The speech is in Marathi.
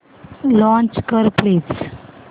लॉंच कर प्लीज